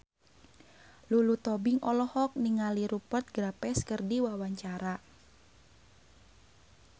Lulu Tobing olohok ningali Rupert Graves keur diwawancara